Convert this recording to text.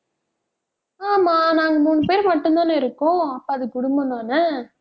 ஆமா நாங்க மூணு பேர் மட்டும் தானே இருக்கோம். அப்ப அது குடும்பம்தானே